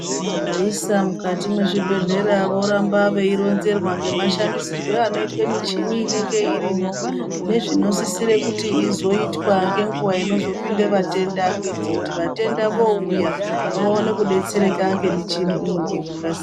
Vaisa mukati mwezvibhehlera voramba veironzerwa ngemashandisirwe anoitwe michini inenge irimwo nezvinosisire kuti izoitwa ngenguva inozopinde vatenda. Kuite kuti vatenda voouya vaone kudetsereka ngemichini iyi ngekukasi...